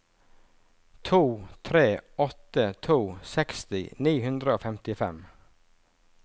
to tre åtte to seksti ni hundre og femtifem